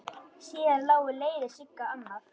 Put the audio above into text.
Síðar lágu leiðir Sigga annað.